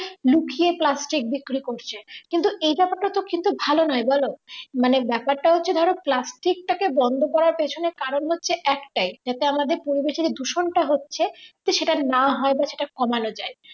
লুকিয়ে প্লাস্টিক বিক্রি করছে কিন্তুএই ব্যাপারটা তো কিন্তু ভালো নয় বলো মানে ব্যাপারটা হচ্ছে ধরো প্লাস্টিক টাকে করার বন্ধ করার পেছনে। কারণ হচ্ছে একটাই যাতে আমাদের পরিবেশের চেয়ে দূষণ টা হচ্ছে তো সেটা না হয় বা সেটা কমানো যায়